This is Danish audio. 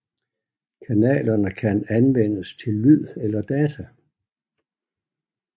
Kanalerne kan anvendes til lyd eller data